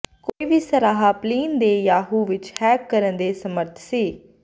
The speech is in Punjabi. ਕੋਈ ਵੀ ਸਾਰਾਹ ਪਲਿਨ ਦੇ ਯਾਹੂ ਵਿੱਚ ਹੈਕ ਕਰਨ ਦੇ ਸਮਰੱਥ ਸੀ